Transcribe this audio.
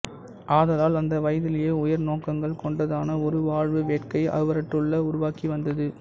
ஆதலால் அந்த வயதிலேயே உயர் நோக்கங்கள் கொண்டதான ஒரு வாழ்வு வேட்கை அவருள்ளே உருவாகி வந்தது